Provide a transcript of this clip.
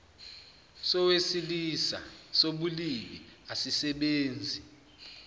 sowesilisa sobulili asisebenzi